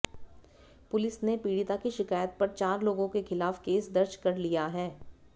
police ने पीड़िता की शिकायत पर चार लोगों के खिलाफ केस दर्ज कर लिया है